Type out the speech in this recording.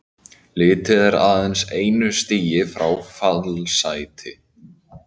Liðið er aðeins einu stigi frá fallsæti.